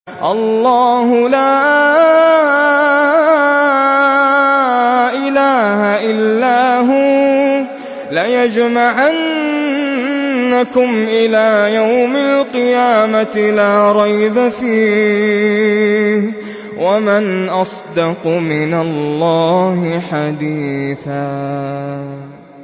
اللَّهُ لَا إِلَٰهَ إِلَّا هُوَ ۚ لَيَجْمَعَنَّكُمْ إِلَىٰ يَوْمِ الْقِيَامَةِ لَا رَيْبَ فِيهِ ۗ وَمَنْ أَصْدَقُ مِنَ اللَّهِ حَدِيثًا